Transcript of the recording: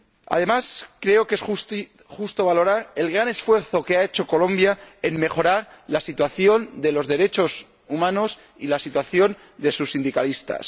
Además, creo que es justo valorar el gran esfuerzo que ha hecho Colombia para mejorar la situación de los derechos humanos y la situación de sus sindicalistas.